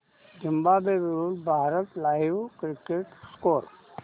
Zimbabwe विरूद्ध Bharat live cricket score